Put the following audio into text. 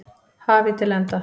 hafi til enda.